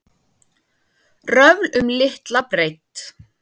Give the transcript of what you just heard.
Röfl um litla breidd